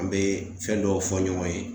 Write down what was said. An bɛ fɛn dɔw fɔ ɲɔgɔn ye